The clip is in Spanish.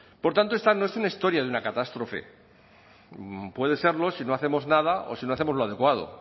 por tanto esta no es una historia de una catástrofe puede serlo si no hacemos nada o si no hacemos lo adecuado